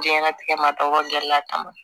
Diɲɛnatigɛ ma dɔn a kama